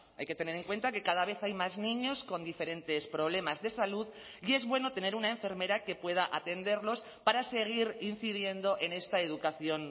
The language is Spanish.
hay que tener en cuenta que cada vez hay más niños con diferentes problemas de salud y es bueno tener una enfermera que pueda atenderlos para seguir incidiendo en esta educación